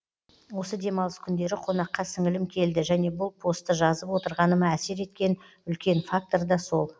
осы демалыс күндері қонаққа сіңілім келді және бұл постты жазып отырғаныма әсер еткен үлкен фактор да сол